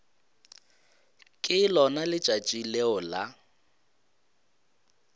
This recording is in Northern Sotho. ke lona letšatši leo la